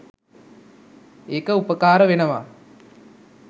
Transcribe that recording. ඒක උපකාර වෙනවා.